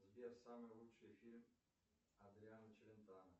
сбер самый лучший фильм адриано челентано